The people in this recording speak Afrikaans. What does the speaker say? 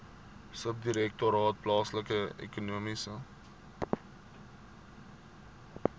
subdirektoraat plaaslike ekonomiese